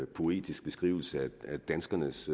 poetisk beskrivelse af danskernes